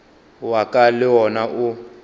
wa ka le wona o